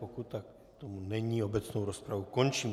Pokud tomu tak není, obecnou rozpravu končím.